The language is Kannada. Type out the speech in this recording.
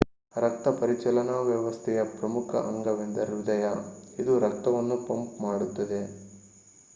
ರಕ್ತಪರಿಚಲನಾ ವ್ಯವಸ್ಥೆಯ ಪ್ರಮುಖ ಅಂಗವೆಂದರೆ ಹೃದಯ ಇದು ರಕ್ತವನ್ನು ಪಂಪ್ ಮಾಡುತ್ತದೆ